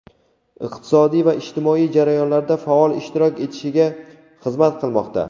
iqtisodiy va ijtimoiy jarayonlarda faol ishtirok etishiga xizmat qilmoqda.